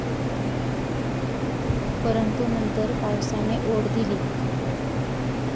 परंतु नंतर पावसाने ओढ दिली.